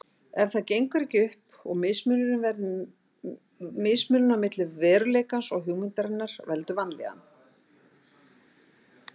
En það gengur ekki upp og mismunurinn á milli veruleikans og hugmyndarinnar veldur vanlíðan.